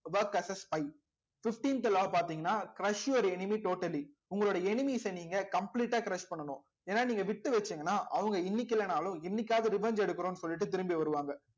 work assess spy fifteenth law பாத்தீங்கன்னா crush your enemy totally உங்களுடைய enemies அ நீங்க complete ஆ crush பண்ணணும் ஏன்னா நீங்க வித்து வச்சீங்கன்னா அவங்க இன்னைக்கு இல்லைன்னாலும் என்னைக்காவது revenge எடுக்கிறோம்ன்னு சொல்லிட்டு திரும்பி வருவாங்க